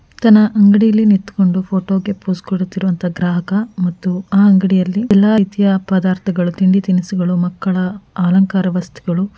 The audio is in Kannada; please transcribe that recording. ಹಾಗೆಯೆ ಹಣೆಗೆ ಕುಂಕುಮ ಬೊಟ್ಟನ್ನು ಇಟ್ಟು ಕೋನತಿದ್ದಾನೆ ಹಿಂದೆ ಸುಮಾರು ಜನರಿದ್ದಾರೆ ನೋಡಲು ಮಂಗನಂತೆ ಕಾಣುತ್ತಿದ್ದಾನೆ.